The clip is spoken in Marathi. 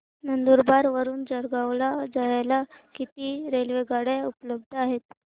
नंदुरबार वरून जळगाव ला जायला किती रेलेवगाडया उपलब्ध आहेत